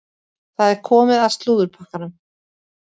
Það er komið að slúðurpakkanum.